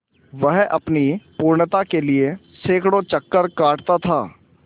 वह अपनी पूर्णता के लिए सैंकड़ों चक्कर काटता था